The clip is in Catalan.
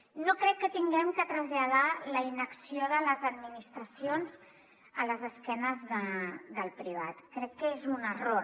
no crec que haguem de traslladar la inacció de les administracions a l’esquena del privat crec que és un error